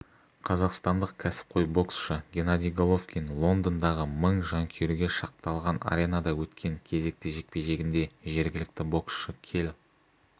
қазақстандық кәсіпқой боксшы геннадий головкин лондондағы мың жанкүйерге шақталған аренада өткен кезекті жекпе-жегінде жергілікті боксшы келл